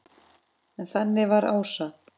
En þannig var Ása.